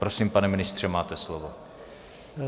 Prosím, pane ministře, máte slovo.